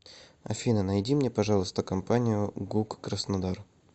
афина найди мне пожалуйста компанию гук краснодар